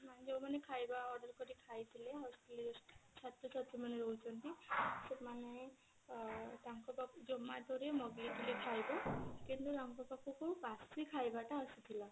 ନାଇଁ ଯଉମାନେ ଖାଇବା order କରିକି ଖାଇଥିଲେ hostilities ଛାତ୍ର ଛାତ୍ରୀ ମାନେ ରହୁଛନ୍ତି ସେମାନେ ଅ ତାଙ୍କ ପାଖକୁ zomato ରେ ମଗେଇଥିଲେ ଖାଇବା କିନ୍ତୁ ତାଙ୍କ ପାଖକୁ ବାସୀ ଖାଇବା ଟା ଆସିଥିଲା